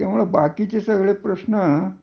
त्याच्यामुळे बाकीच सगळे प्रश्न